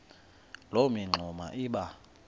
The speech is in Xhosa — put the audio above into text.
loo mingxuma iba